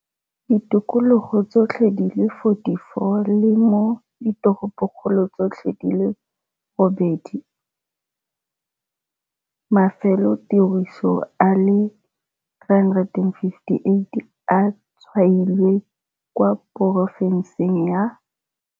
Ditikologong tsotlhe di le 44 le mo diteropokgolong tsotlhe di le robedi. Mafelotiriso a le 358 a tshwailwe kwa porofenseng ya.